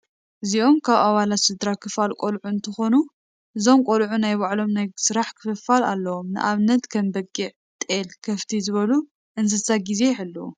እዚኦም ካብ ኣባለት ስድራ ክፋል ቆልዑ እትከውኑ እዞም ቆልዑ ናይ ባዕሎም ናይ ስራሕ ክፍፍል ኣለዎም ንኣብነት፦ ከም በጊዕ፣ ጤል፣ ከፍቲ ዝበሉ እንስሳ ገዜ ይሕልው።